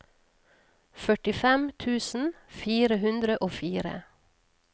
førtifem tusen fire hundre og fire